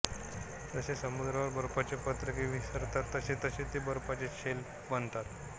जसे समुद्रावर बर्फाचे पत्रके विस्तारतात तसतसे ते बर्फाचे शेल्फ बनतात